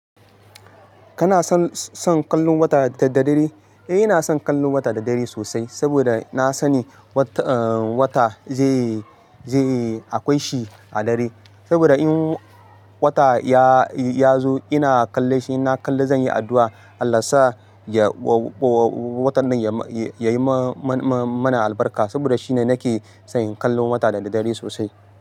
Kana son, son kallon wata da, da dare? Eh, ina son kallon wata da dare sosai saboda na sani wata, eh, wata zai yi, zai yi akwai shi a dare. Saboda in wata ya, ya zo ina kalle shi, ina kalle zan yi addu'a Allah sa ya, wa, watan nan ya, ya yi ma, ma, mana albarka saboda shine nake son kallon wata da, da dare sosai.